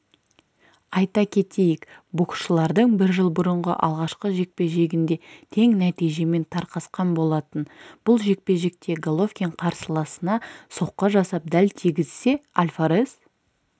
айта кетейік боксшылардың бір жыл бұрынғы алғашқы жекпе-жегінде тең нәтижемен тарқасқан болатын бұл жекпе-жекте головкин қарсыласына соққы жасап дәл тигізсе альварес